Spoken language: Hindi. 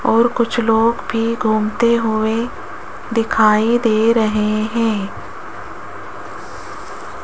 और कुछ लोग भी घूमते हुए दिखाई दे रहे हैं।